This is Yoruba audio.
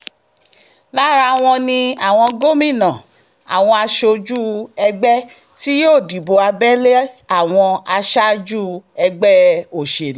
lára wọn ni àwọn gómìnà àwọn aṣojú ẹgbẹ́ tí yóò dìbò abẹ́lé àwọn aṣáájú ẹgbẹ́ òṣèlú